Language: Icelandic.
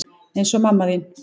Eins og mamma þín.